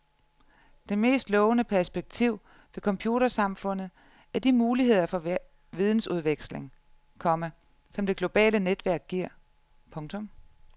Det mest lovende perspektiv ved computersamfundet er de muligheder for vidensudveksling, komma som det globale netværk giver. punktum